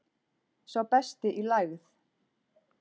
Sá besti í lægð